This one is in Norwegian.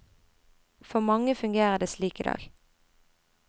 For mange fungerer det slik i dag.